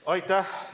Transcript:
Aitäh!